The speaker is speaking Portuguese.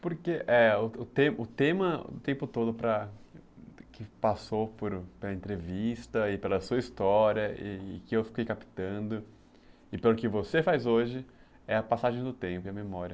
Porque é, o tema do tempo todo que passou pela entrevista e pela sua história e e que eu fiquei captando e pelo que você faz hoje é a passagem do tempo e a memória.